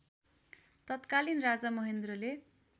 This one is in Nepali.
तत्कालीन राजा महेन्द्रले